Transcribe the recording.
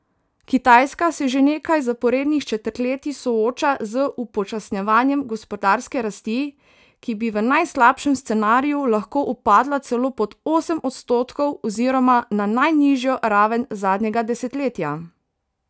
Kitajska se že nekaj zaporednih četrtletij sooča z upočasnjevanjem gospodarske rasti, ki bi v najslabšem scenariju lahko upadla celo pod osem odstotkov oziroma na najnižjo raven zadnjega desetletja.